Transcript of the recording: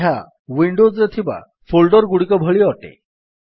ଏହା ୱିଣ୍ଡୋଜ୍ ରେ ଥିବା ଫୋଲ୍ଡର୍ ଗୁଡ଼ିକ ଭଳି ଅଟେ